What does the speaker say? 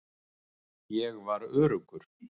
Ég var öruggur.